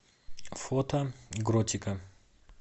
фото гротика